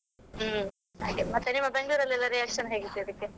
ಹ್ಮ್, ಹಾಗೆ ಮತ್ತೆ ನಿಮ್ಮ ಬೆಂಗಳೂರಲೆಲ್ಲಾ reaction ಹೇಗಿತ್ತು ಇದಕ್ಕೆ?